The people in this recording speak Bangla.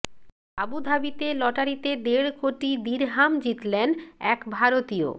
আবু ধাবিতে লটারিতে দেড় কোটি দিরহাম জিতলেন এক ভারতীয়